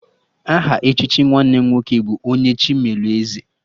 Aha echichi nwanne m nwoke bụ 'Onye Chi melụ Eze'